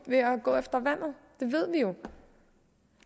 ved at gå efter vandet det ved vi jo